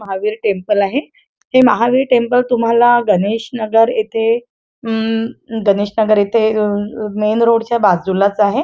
Mahavir temple आहे हे Mahavir temple तुम्हाला गणेश नगर येथे गणेशनगर येथे मेन रोड च्या बाजूलाच आहे.